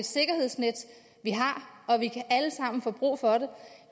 sikkerhedsnet vi har og vi kan alle sammen få brug for det